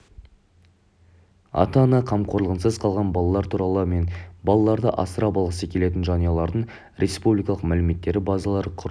ата-ана қамқорлығынсыз қалған балалар туралы мен балаларды асырап алғысы келетін жанұялардың республикалық мәліметтер базалары құрылып